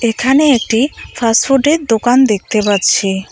এখানে একটি ফাস্টফুডের দোকান দেখতে পাচ্ছি।